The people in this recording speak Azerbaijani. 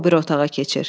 Sonra o biri otağa keçir.